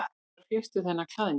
Hvar fékkstu þennan klæðnað?